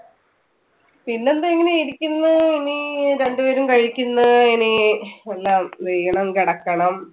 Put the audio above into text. പിന്നെ എന്തുവാ ഇങ്ങനെ ഇരിക്കുന്നു ഇനി രണ്ടു പേരും കഴിക്കുന്നു, ഇനി എല്ലാം ഇത് ചെയ്യണം കിടക്കണം